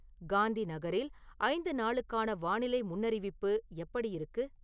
காந்திநகரில் ஐந்து நாளுக்கான வானிலை முன்னறிவிப்பு எப்படி இருக்கு